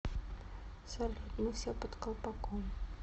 салют мы все под колпаком